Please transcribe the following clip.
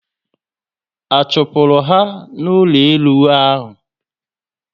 A chupuru ha na ụlọ elu ahụ?